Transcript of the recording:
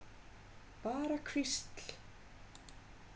Bara hvísl.